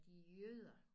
De er jøder